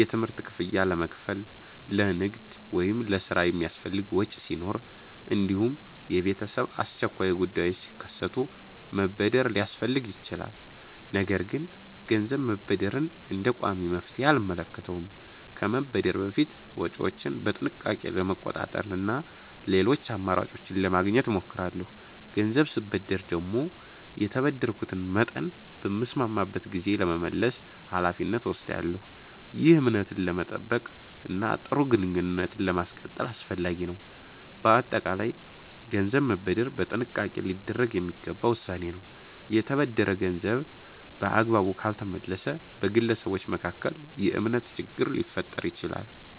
የትምህርት ክፍያ ለመክፈል፣ ለንግድ ወይም ለሥራ የሚያስፈልግ ወጪ ሲኖር፣ እንዲሁም የቤተሰብ አስቸኳይ ጉዳዮች ሲከሰቱ መበደር ሊያስፈልግ ይችላል። ነገር ግን ገንዘብ መበደርን እንደ ቋሚ መፍትሔ አልመለከተውም። ከመበደር በፊት ወጪዎቼን በጥንቃቄ ለመቆጣጠር እና ሌሎች አማራጮችን ለማግኘት እሞክራለሁ። ገንዘብ ስበደር ደግሞ የተበደርኩትን መጠን በተስማማንበት ጊዜ ለመመለስ ኃላፊነት እወስዳለሁ። ይህ እምነትን ለመጠበቅ እና ጥሩ ግንኙነትን ለማስቀጠል አስፈላጊ ነው። በአጠቃላይ ገንዘብ መበደር በጥንቃቄ ሊደረግ የሚገባ ውሳኔ ነው። የተበደረ ገንዘብ በአግባቡ ካልተመለሰ በግለሰቦች መካከል የእምነት ችግር ሊፈጠር ይችላል።